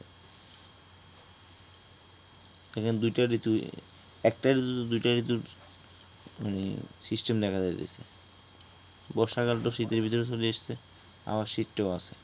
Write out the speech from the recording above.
দেখেন দুইটা ঋতু একটা ঋতুতে দুইটা ঋতু মানে সিস্টেম দেখা যায় যে বর্ষাকাল তো শীতের ভিতরে চলে আসছে আবার শীতটাও আছে